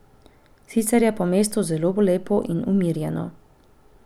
Sicer je pa mesto zelo lepo in umirjeno.